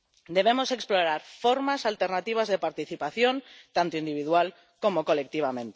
debemos explorar formas alternativas de participación tanto individual como colectiva.